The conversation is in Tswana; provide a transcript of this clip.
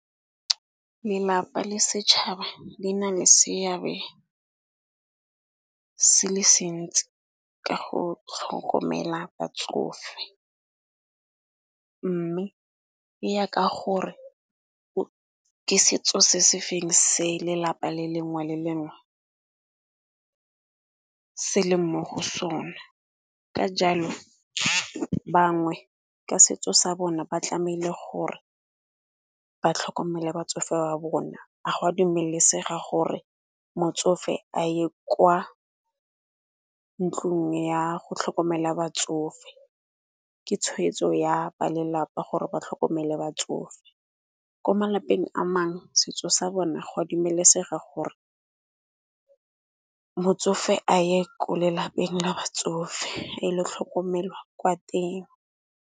Lelapa le setšhaba di na le seabe se le sentsi ka go tlhokomela batsofe, mme e ya ka gore ke setso se se feng se lelapa le lengwe le lengwe se le mo go sone. Ka jalo bangwe ka setso sa bona ba tlamele gore ba tlhokomele batsofe ba bona, a gwa dumelesega gore motsofe a ye kwa ntlung ya go tlhokomela batsofe. Ke tshweetso ya ba lelapa gore ba tlhokomele batsofe, ko malapeng a mangwe setso sa bona go a dumelesega gore motsofe a ye ko lelapeng la batsofe a e le tlhokomelwa kwa teng.